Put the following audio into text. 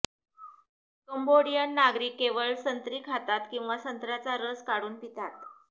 Cambodian नागरिक केवळ संत्री खातात किंवा संत्र्याचा रस काढून पितात